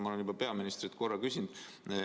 Ma olen juba peaministrilt korra seda küsinud.